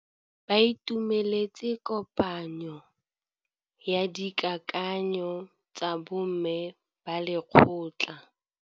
Ba itumeletse kôpanyo ya dikakanyô tsa bo mme ba lekgotla.